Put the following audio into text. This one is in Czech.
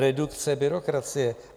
Redukce byrokracie?